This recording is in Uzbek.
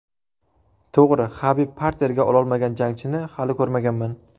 To‘g‘ri, Habib parterga ololmagan jangchini hali ko‘rmaganman.